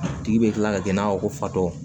A tigi bɛ kila ka kɛ i n'a fɔ ko fatɔ